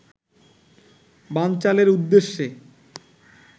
বানচালের উদ্দেশ্যে